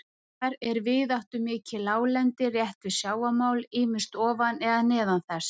Þar er víðáttumikið láglendi rétt við sjávarmál, ýmist ofan eða neðan þess.